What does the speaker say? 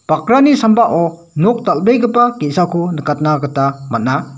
bakrani sambao nok dal·begipa ge·sako nikatna gita man·a.